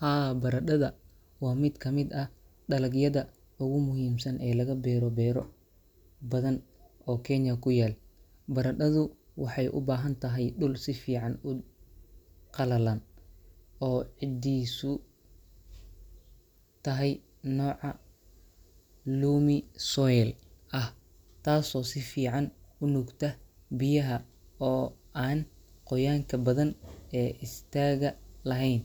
Haa, baradhada waa mid ka mid ah dalagyada ugu muhiimsan ee laga beero beero badan oo Kenya ku yaal. Baradhadu waxay u baahan tahay dhul si fiican u qallalan oo ciiddiisu tahay nooca loamy soil ah — taasoo si fiican u nuugta biyaha oo aan qoyaanka badan ee istaaga lahayn.